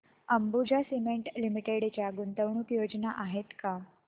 Ambuja cement limited च्या गुंतवणूक योजना आहेत का